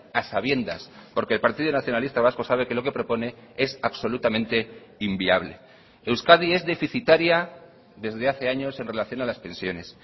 a sabiendas porque el partido nacionalista vasco sabe que lo que propone es absolutamente inviable euskadi es deficitaria desde hace años en relación a las pensiones